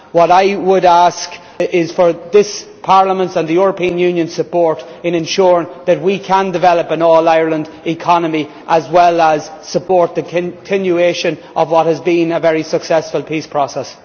What I would ask is for this Parliament's and the European Union's support in ensuring that we can develop an all Ireland economy as well as supporting the continuation of what has been a very successful peace process.